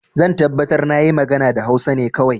Zan tabbatar na yi magana da Hausa ne kawai.